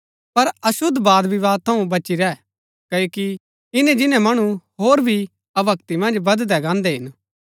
पर अशुद्ध वादविवाद थऊँ बची रैह क्ओकि इन्‍नै जिन्‍नै मणु होर भी अभक्‍ति मन्ज बददै गान्हदै हिन